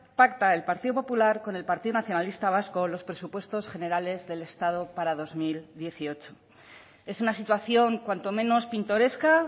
pacta el partido popular con el partido nacionalista vasco los presupuestos generales del estado para dos mil dieciocho es una situación cuanto menos pintoresca